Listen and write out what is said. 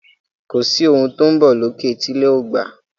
Kọ sí òún tó ń bó lókè tí ilé o lẹ gbà